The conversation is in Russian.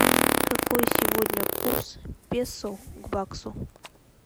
какой сегодня курс песо к баксу